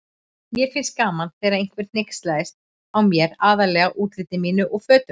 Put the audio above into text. Mér fannst gaman þegar einhver hneykslaðist á mér, aðallega útliti mínu og fötum.